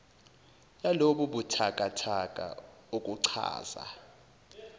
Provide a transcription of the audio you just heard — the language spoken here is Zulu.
yalobu buthakathaka okuchaza